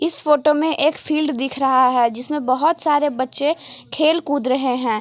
इस फोटो में एक फील्ड दिख रहा है जिसमें बहुत सारे बच्चे खेल कुद रहे हैं।